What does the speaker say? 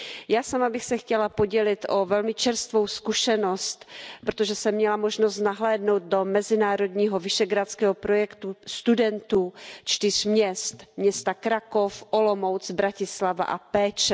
Já sama bych se chtěla podělit o velmi čerstvou zkušenost, protože jsem měla možnost nahlédnout do mezinárodního visegrádského projektu studentů čtyř měst, města Krakov, Olomouc, Bratislava a Pécs.